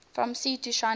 from sea to shining sea